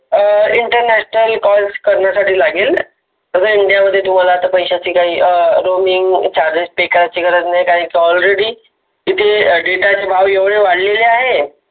Internal call करण्यासाठी लागेल, जसे india मध्ये तुम्हाला पैशाची Roaming charges करण्याची गरज नाही. कारण ते already data चे भाव एवढे वाढलेले आहे.